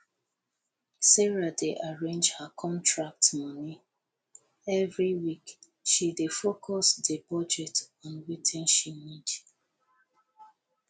sarah dey arrange her contract moni every week she dey focus di budget on wetin she need